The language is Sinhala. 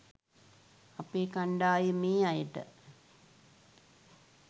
අපේ කණ්ඩායමේ අයට